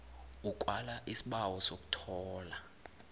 ukwala isibawo sokuthola